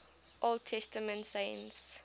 old testament saints